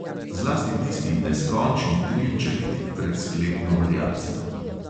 Zlasti tisti neskončni trilček tik pred sklepno variacijo.